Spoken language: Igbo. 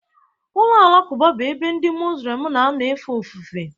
Ụlọ alakụba bụ ebe ndị Mozulem na-anọ efe ofufe.